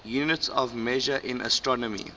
units of measure in astronomy